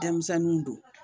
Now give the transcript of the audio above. Denmisɛnninw don